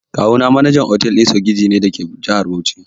Kawuna manajan otal ɗin sogiji ne dake jihar Bauchi.